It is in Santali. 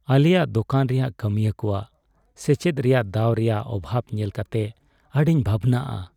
ᱟᱞᱮᱭᱟᱜ ᱫᱳᱠᱟᱱ ᱨᱮ ᱠᱟᱹᱢᱤᱭᱟᱹ ᱠᱚᱣᱟᱜ ᱥᱮᱪᱮᱫ ᱨᱮᱭᱟᱜ ᱫᱟᱣ ᱨᱮᱭᱟᱜ ᱚᱵᱷᱟᱵᱽ ᱧᱮᱞ ᱠᱟᱛᱮ ᱟᱹᱰᱤᱧ ᱵᱷᱟᱵᱱᱟᱜᱼᱟ ᱾